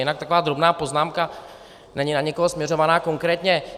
Jinak taková drobná poznámka, není na nikoho směrovaná konkrétně.